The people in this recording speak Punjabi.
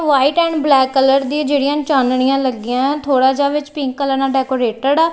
ਵਾਈਟ ਐਂਡ ਬਲੈਕ ਕਲਰ ਦੀਆਂ ਜਿਹੜੀਆਂ ਚਾਨਣੀਆਂ ਲੱਗੀਆਂ ਥੋੜਾ ਜਿਹਾ ਵਿੱਚ ਪਿੰਕ ਕਲਰ ਨਾਲ ਡੈਕੋਰੇਟਡ ਆ।